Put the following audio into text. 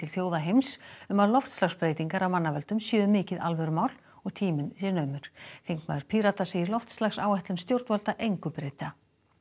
þjóða heims um að loftslagsbreytingar af mannavöldum séu mikið alvörumál og tíminn sé naumur þingmaður Pírata segir loftslagsáætlun stjórnvalda engu breyta